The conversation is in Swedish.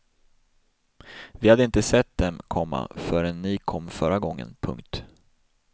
Vi hade inte sett dem, komma förrän ni kom förra gången. punkt